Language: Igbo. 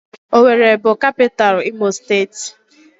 Owerri bụ kapitalụ imo steeti.